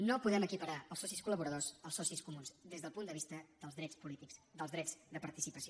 no podem equiparar els socis collaboradors als socis comuns des del punt de vista dels drets polítics dels drets de participació